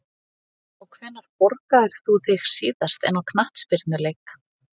já Hvenær borgaðir þú þig síðast inn á knattspyrnuleik?